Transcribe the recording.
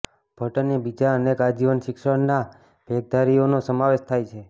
ભટ્ટ અને બીજા અનેક આજીવન શિક્ષણના ભેખધારીઓનો સમાવેશ થાય છે